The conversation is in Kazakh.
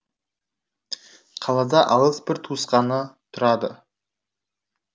қалада алыс бір туысқаны тұрады